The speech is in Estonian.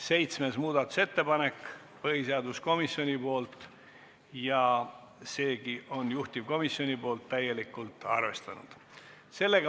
Seitsmes muudatusettepanek on põhiseaduskomisjonilt ja seegi on juhtivkomisjonil täielikult arvestatud.